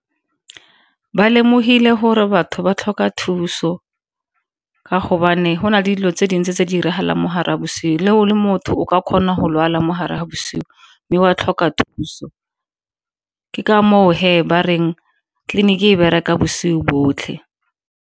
Ba lemogile gore batho ba tlhoka thuso ka gobane gona dilo tse dintsi tse di diragalang mo gare ga bosigo, le fa o le motho o ka kgona go lwala mo gare ga bosigo mme ba tlhoka thuso. Ke ka moo he ba reng tleliniki e bereka bosigo botlhe.